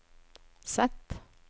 Z